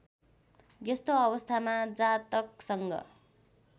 यस्तो अवस्थामा जातकसँग